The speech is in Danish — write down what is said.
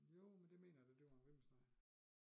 Jo men det mener jeg da det var en ribbenssteg